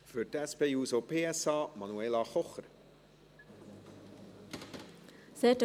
Für die SP-JUSO-PSA-Fraktion: Manuela Kocher.